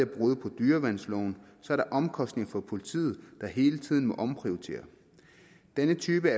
brud på dyreværnsloven så er der omkostninger for politiet der hele tiden må omprioritere denne type